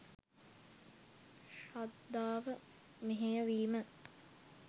ශ්‍රද්ධාව මෙහෙය වීම